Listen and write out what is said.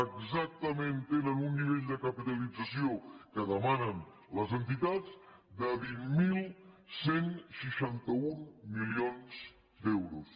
exactament tenen un nivell de capitalització que demanen les entitats de vint mil cent i seixanta un milions d’euros